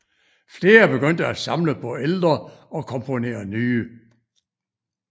Flere begyndte at samle på ældre og komponere nye